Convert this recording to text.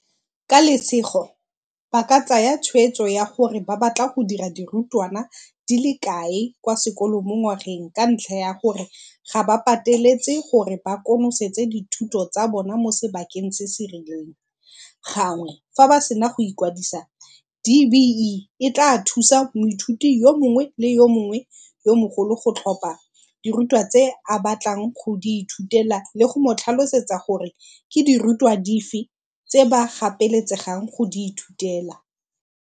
"Ka lesego, ba ka tsaya tshwetso ya gore ba batla go dira dirutwana di le kae kwa sekolong mongwageng ka ntlha ya gore ga ba pateletse gore ba konosetse dithuto tsa bona mo sebakeng se se rileng."Gangwe fa ba sena go ikwadisa, DBE e tlaa thusa moithuti yo mongwe le yo mongwe yo mogolo go tlhopha dirutwa tse a batlang go di ithutela le go mo tlhalosetsa gore ke dirutwa dife tse ba gapeletsegang go di ithutela.